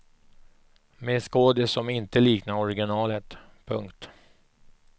Med skådis som inte liknar originalet. punkt